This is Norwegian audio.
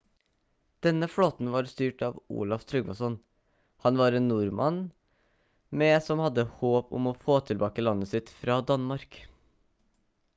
denne flåten var styrt av olaf trygvasson han var en nordmann med som hadde håp om å få tilbake landet sitt fra danmark